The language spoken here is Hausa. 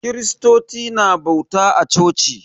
Kiristoci na bauta a coci